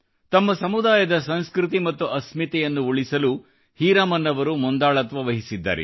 ತಮ್ಮ ಸಮುದಾಯದ ಸಂಸ್ಕೃತಿ ಮತ್ತು ಅಸ್ಮಿತತೆಯನ್ನು ಉಳಿಸಲು ಹೀರಾಮನ್ ಅವರು ಮುಂದಾಳತ್ವವಹಿಸಿದ್ದಾರೆ